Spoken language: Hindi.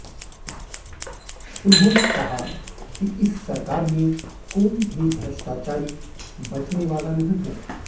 उन्होंने कहा कि इस सरकार में कोई भी भ्रष्टाचारी बचने वाला नहीं है